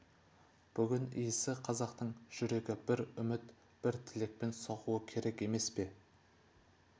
бүгін иісі қазақтың жүрегі бір үміт бір тілекпен соғуы керек емес пе